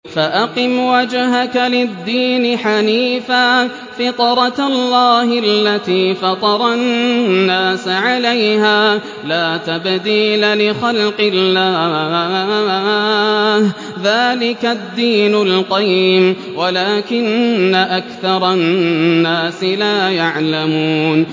فَأَقِمْ وَجْهَكَ لِلدِّينِ حَنِيفًا ۚ فِطْرَتَ اللَّهِ الَّتِي فَطَرَ النَّاسَ عَلَيْهَا ۚ لَا تَبْدِيلَ لِخَلْقِ اللَّهِ ۚ ذَٰلِكَ الدِّينُ الْقَيِّمُ وَلَٰكِنَّ أَكْثَرَ النَّاسِ لَا يَعْلَمُونَ